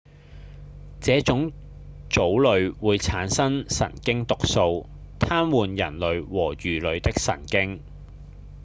這種藻類會產生神經毒素癱瘓人類和魚類的神經